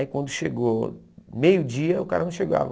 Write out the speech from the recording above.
Aí quando chegou meio dia, o cara não chegava.